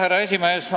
Härra esimees!